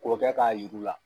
K'o kɛ k'a yir'u la